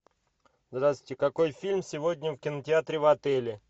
здравствуйте какой фильм сегодня в кинотеатре в отеле